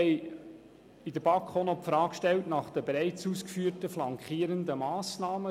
Wir stellten seitens der BaK auch noch die Frage nach den bereits ausgeführten flankierenden Massnahmen.